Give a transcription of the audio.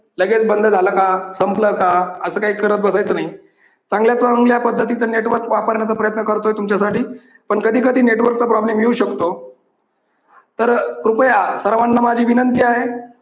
लगेच बंद झालं का? संपलं का? असं काय करत बसायचं नाही. चांगल्या चांगल्या पद्धतीच नेटवर्क वापरण्याचा प्रयत्न करतोय तुमच्यासाठी पण कधीकधी network चा problem येऊ शकतो. तर कृपया सर्वांना माझी विनंती आहे.